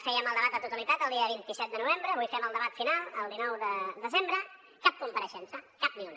fèiem el debat de totalitat el dia vint set de novembre avui fem el debat final el dinou de desembre cap compareixença cap ni una